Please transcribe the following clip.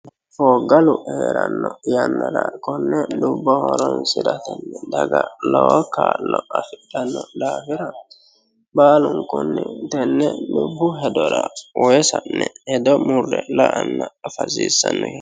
fooggalu heeranno yannara konne dubbo horonsiratenni daga lowo kaa'lo afidhanno daafira baalunkunni tenne dubbu hedora uuwe sa'ne hedo murre afanna la'a hasiissanno yaate.